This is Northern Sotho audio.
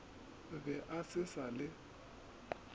be a se sa le